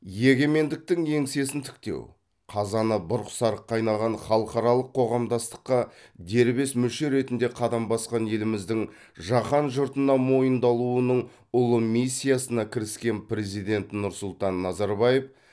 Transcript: егемендіктің еңсесін тіктеу қазаны бұрқ сарқ қайнаған халықаралық қоғамдастыққа дербес мүше ретінде қадам басқан еліміздің жаһан жұртына мойындалуының ұлы миссиясына кіріскен президент нұрсұлтан назарбаев